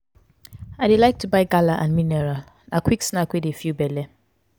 i dey like to buy gala and mineral na quick snack wey dey fill belle.